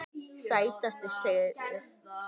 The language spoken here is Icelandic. Sætasti sigur?